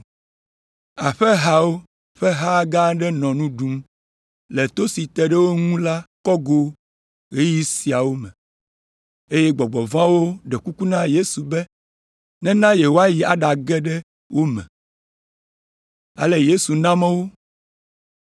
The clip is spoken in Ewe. Aƒehawo ƒe ha gã aɖe nɔ nu ɖum le to si te ɖe wo ŋu la kɔgo le ɣeyiɣi sia me, eye gbɔgbɔ vɔ̃awo ɖe kuku na Yesu be nena yewoayi aɖage ɖe wo me. Ale Yesu na mɔ wo.